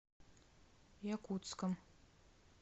якутском